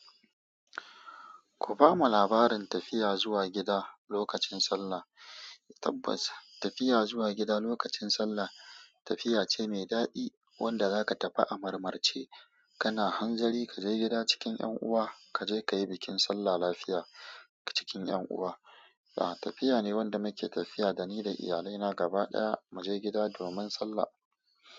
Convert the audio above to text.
Ku bamu labarin tafiya zuwa gida lokacin Sallah. Tabbas, tafiya zuwa gida lokacin Sallah tafiya ce mai daɗi wanda zaka tafi a marmarce. Kana hanzari ka je gida cikin ƴan'uwa, ka je ka yi bikin Sallah lafiya cikin ƴan'uwa. A'a, tafiya ne wanda muke tafiya da ni da iyalaina gaba ɗaya mu je gida domin Sallah.